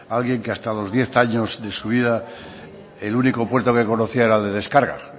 alguien que hasta los diez años de su vida el único puerto que conocía era de descargas